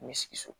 Mi sigi so